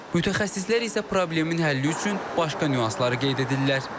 Mütəxəssislər isə problemin həlli üçün başqa nüansları qeyd edirlər.